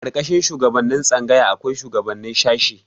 A ƙarƙashin shugaban tsangaya akwai shuwagabannin shashi.